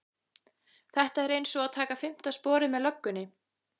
Þetta er einsog að taka fimmta sporið með löggunni